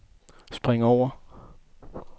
spring over